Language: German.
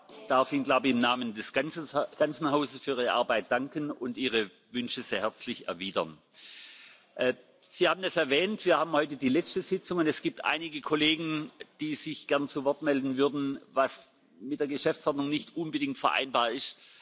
Ich darf Ihnen ich glaube, im Namen des ganzen Hauses für Ihre Arbeit danken und Ihre Wünsche sehr herzlich erwidern. Sie haben es erwähnt Wir haben heute die letzte Sitzung, und es gibt einige Kollegen, die sich gerne zu Wort melden würden, was mit der Geschäftsordnung nicht unbedingt vereinbar ist.